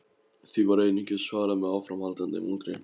Því var einungis svarað með áframhaldandi muldri.